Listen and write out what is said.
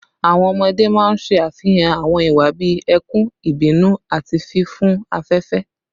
Awọn ọmọde maa n ṣe afihan awọn iwa bii ẹkun, ibinu, ati fifun afẹfẹ